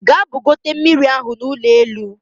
Gaa bugote mmiri n'ahụ n'ụlọ elu!